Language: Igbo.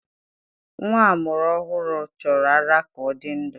Nwa a mụrụ ọhụrụ chọrọ ara ka ọ dị ndụ